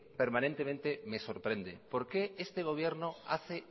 permanentemente me sorprende por qué este gobierno hace